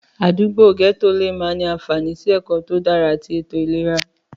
Àdúgbò àdúgbò lè má ní àfààní sí ẹ̀kọ́ tó dára àti ètò ìlera.